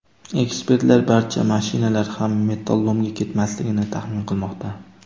Ekspertlar barcha mashinalar ham metallolomga ketmasligini taxmin qilmoqda.